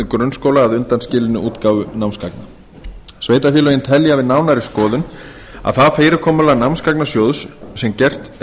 grunnskóla að undanskilinni útgáfu námsgagna sveitarfélögin telja við nánari skoðun að það fyrirkomulag námsgagnasjóðs sem gert er